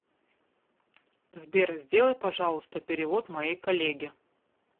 сбер сделай пожалуйста перевод моей коллеге